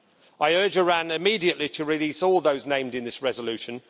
I urge Iran to immediately release all those named in this resolution.